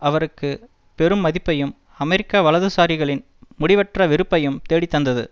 அவருக்கு பெரும் மதிப்பையும் அமெரிக்க வலதுசாரிகளின் முடிவற்ற வெறுப்பையும் தேடித்தந்தது